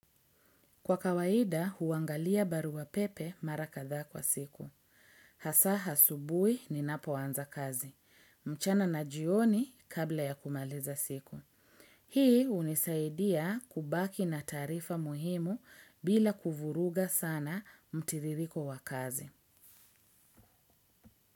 Kwa kawaida huangalia barua pepe mara kadhaa kwa siku. Hasa asubuhi ninapoanza kazi. Mchana na jioni kabla ya kumaliza siku. Hii hunisaidia kubaki na taarifa muhimu bila kuvuruga sana mtiririko wa kazi.